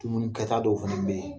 Dumuni kɛ ta dɔw fɛnɛ be yen